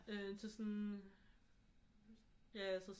Øh til sådan ja altså